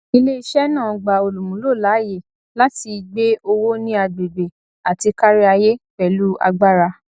iléiṣẹ náà gba olúmúló láàyè láti gbe owó ní agbègbè àti káríayé pẹlú agbára